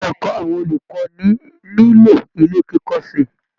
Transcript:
Ilé ẹ̀kọ́ àwọn olùkọ́ni nílò ilé kíkọ́ sí i